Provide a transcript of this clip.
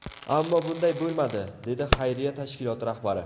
Ammo bunday bo‘lmadi”, dedi xayriya tashkiloti rahbari.